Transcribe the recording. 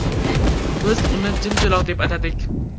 Biz uni Jimjiloq deb atadik”.